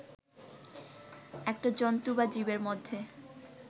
একটা জন্তু বা জীবের মধ্যে